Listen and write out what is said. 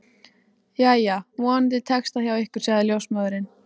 Jæja, vonandi tekst það hjá ykkur sagði ljósmóðirin.